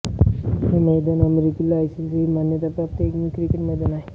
हे मैदान अमेरिकेतील आयसीसी मान्यताप्राप्त एकमेव क्रिकेट मैदान आहे